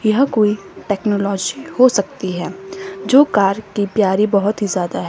यह कोई टेक्नोलॉजी हो सकती है जो कार की प्यारी बहोत ही ज्यादा है।